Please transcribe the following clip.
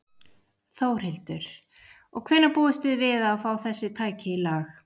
Þórhildur: Og hvenær búist þið við að fá þessi tæki í lag?